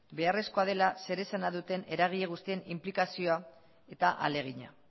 beharrezkoa dela zeresana duten eragile guztien inplikazioa eta ahalegina